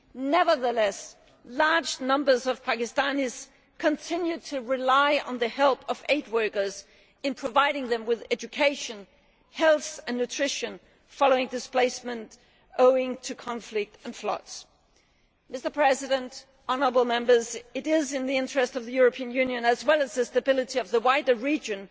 Nevertheless, large numbers of Pakistanis continue to rely on the help of aid workers in providing them with education, health and nutrition, following displacement owing to conflict and floods. It is in the interests of the European Union as well as the stability of the wider region